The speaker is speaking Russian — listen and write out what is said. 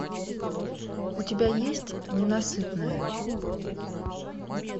у тебя есть ненасытная